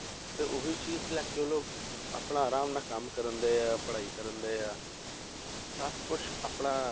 ਤੇ ਉਹੀ ਚੀਜ਼ ਲੈ ਕੇ ਉਹ ਆਪਣਾ ਆਰਾਮ ਨਾਲ ਕੰਮ ਕਰਦੇ ਆ ਪੜ੍ਹਾਈ ਕਰਦੇ ਆ ਸਭ ਕੁਛ ਆਪਣਾ